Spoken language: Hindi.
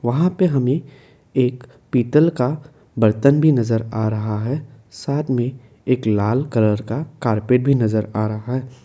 वहां पे हमें एक पीतल का बर्तन भी नजर आ रहा है साथ में एक लाल कलर का कारपेट भी नजर आ रहा है।